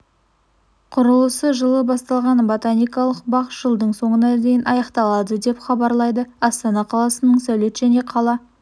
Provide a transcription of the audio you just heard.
құрылысы жылы басталған ботаникалық бақ жылдың соңына дейін аяқталады деп хабарлайды астана қаласының сәулет және қала